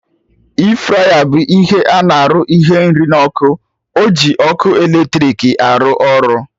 E-fraya bụ ihe arụ ihe nri na ọkụ, oji ọkụ eletrik arụ ọrụ